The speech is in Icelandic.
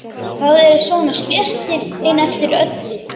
Það eru svona slettur inn eftir öllu.